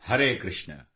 Hare Krishna